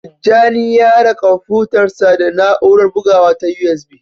Tijjani ya haɗa kwamfutarsa da na'urar bugawa ta USB.